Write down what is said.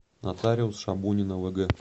нотариус шабунина вг